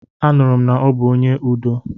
Anụrụ m na ọ bụ onye udo.